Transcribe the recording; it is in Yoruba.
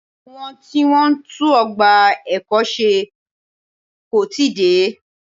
Àwọn tí Wọ́n ń tún ọgbà ẹ̀kọ́ ṣe kò tíì dé.